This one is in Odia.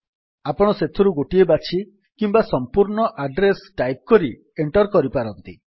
ଆପଣ ଏଥିରୁ ଗୋଟିଏ ବାଛି କିମ୍ୱା ସମ୍ପୂର୍ଣ୍ଣ ଆଡ୍ରେସ୍ ଟାଇପ୍ କରି ଏଣ୍ଟର୍ କରିପାରନ୍ତି